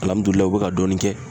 u be ka dɔɔni kɛ.